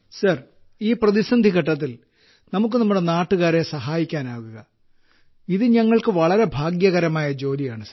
group captain sir ഈ പ്രതിസന്ധി ഘട്ടത്തിൽ നമുക്ക് നമ്മുടെ നാട്ടുകാരെ സഹായിക്കാനാകുക ഇത് ഞങ്ങൾക്ക് വളരെ ഭാഗ്യകരമായ ജോലിയാണ്